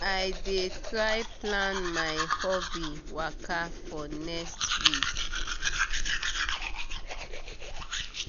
i dey try plan my hobby waka for next week.